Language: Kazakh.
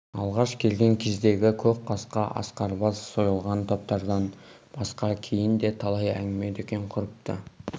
алғаш келген кездегі көк қасқа ақсарбас сойылған топтардан басқа кейін де талай әңгіме-дүкен құрыпты